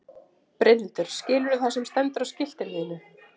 Brynhildur: Skilurðu það sem stendur á skiltinu þínu?